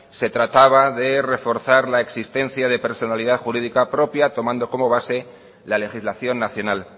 se trataba de reforzar la existencia de personalidad jurídica propia tomando como base la legislación nacional